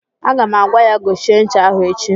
Aga m agwa ya gochie ncha ahụ echi!